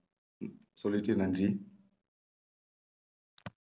சொல்லிட்டு நன்றி